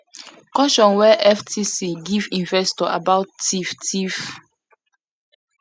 caution wey ftc give investor about theif theif